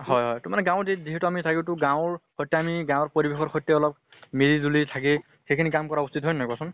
হয় হয় এইটো গাঁৱত যি সিহেতু মানে থাকো তু গাঁৱৰ সৈতে আমি, গাঁৱৰ পৰিবেশৰ সৈতে আমি মিলি জুলি থাকি সেই খিনি কাম কৰা উচিত, হয় নে নহয় কোৱাচোন?